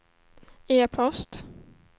e-post